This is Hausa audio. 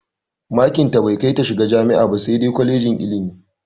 Makin tai bai kai ta shiga jami'a ba sai dai kwalejin ilimi.